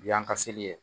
Bi yan ka seli ye